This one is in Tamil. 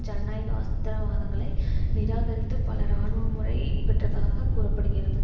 ஜனநாயக அஸ்தவாதங்களை நிராகரித்து பல இராணுவ முறை பெற்றதாக கூற படுகிறது